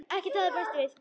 Ekkert hafði bæst við.